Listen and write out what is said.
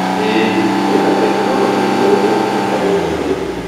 ĩĩ, kwĩna tekinoronjĩ njerũ tũngĩhota gũtũmĩra.